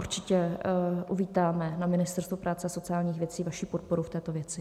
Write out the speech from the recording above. Určitě uvítáme na Ministerstvu práce a sociálních věcí vaši podporu v této věci.